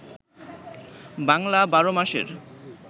বাংলা ১২ মাসের